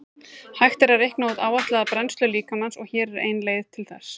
Hægt er að reikna út áætlaða brennslu líkamans og hér er ein leið til þess.